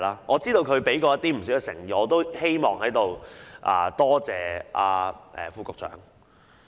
我知道他已展示不少誠意，我也希望在此多謝副局長。